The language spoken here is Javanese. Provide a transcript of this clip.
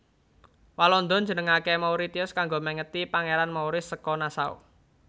Walanda njenengaké Mauritius kanggo mèngeti Pangeran Maurice saka Nassau